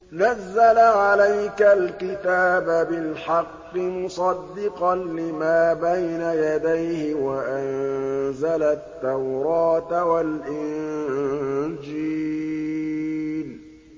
نَزَّلَ عَلَيْكَ الْكِتَابَ بِالْحَقِّ مُصَدِّقًا لِّمَا بَيْنَ يَدَيْهِ وَأَنزَلَ التَّوْرَاةَ وَالْإِنجِيلَ